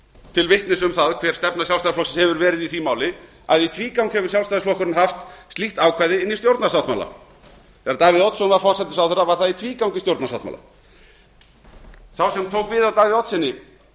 til vitnis um hver stefna sjálfstæðisflokksins hefur verið í því máli að í tvígang hefur sjálfstæðisflokkurinn haft slíkt ákvæði inni í stjórnarsáttmála þegar davíð oddsson var forsætisráðherra var það í tvígang í stjórnarsáttmála sá sem tók við af davíð oddssyni